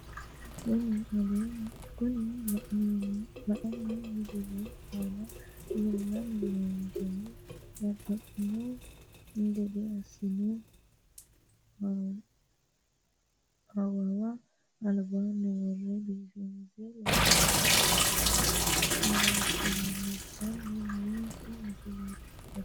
Kuni aleenni misilete aana leellanni noonkehu babbaxxino gede assine awawa albaanni worre biifinse loonse worroonni baycho leellishshanni noonke misileeti yaate